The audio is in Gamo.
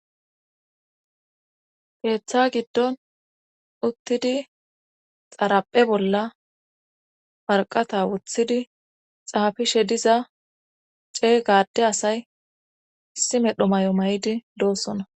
Keeththa giddon uttidi xaraphe bolla marqata wuthidi xaafishe diza ceey gade asay issi medho may7o may7idi doossona.